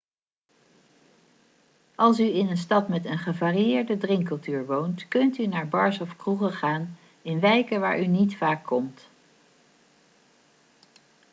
als u in een stad met een gevarieerde drinkcultuur woont kunt u naar bars of kroegen gaan in wijken waar u niet vaak komt